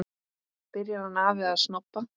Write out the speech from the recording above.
Byrjar hann afi að snobba!